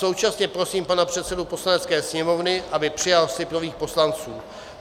Současně prosím pana předsedu Poslanecké sněmovny, aby přijal slib nových poslanců.